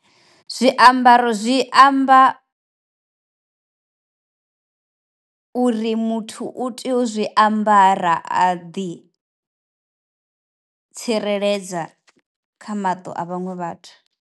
Zwi ambaro zwi amba uri muthu u tea u zwiambara a ḓi tsireledza kha maṱo a vhaṅwe vhathu.